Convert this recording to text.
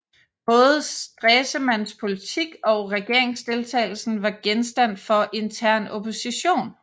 Både Stresemanns politik og regeringsdeltagelsen var genstand for intern opposition